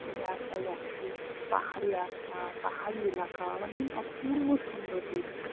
রাস্তায় যাচ্ছি। পাহাড়ি রাস্তা, পাহাড়ি এলাকা, মানে অপূর্ব সুন্দর দৃশ্য।